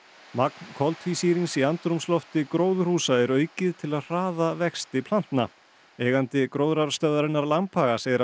magn koltvísýrings í andrúmslofti gróðurhúsa er aukið til að hraða vexti plantna eigandi gróðrarstöðvarinnar Lambhaga segir að